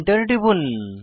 Enter টিপুন